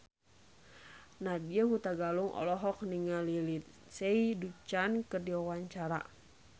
Nadya Hutagalung olohok ningali Lindsay Ducan keur diwawancara